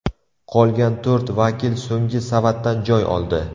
Qolgan to‘rt vakil so‘nggi savatdan joy oldi.